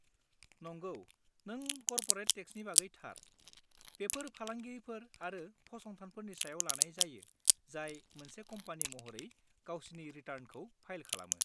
नंगौ, नों कर्परेट टेक्सनि बागै थार; बेफोर फालांगिफोर आरो फसंथानफोरनि सायाव लानाय जायो जाय मोनसे कम्पानि महरै गावसिनि रिटार्नखौ फाइल खालामो।